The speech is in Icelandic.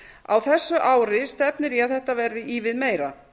á þessu ári stefnir í að þetta verði ívið meira